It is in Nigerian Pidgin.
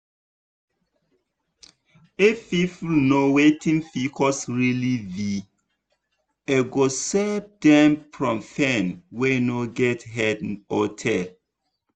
if people know wetin pcos really be e go save dem from pain wey no get head or tail